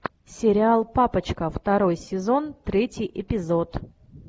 сериал папочка второй сезон третий эпизод